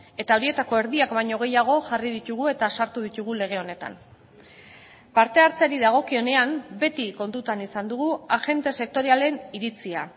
eta horietako erdiak baino gehiago jarri ditugu eta sartu ditugu lege honetan parte hartzeari dagokionean beti kontutan izan dugu agente sektorialen iritzia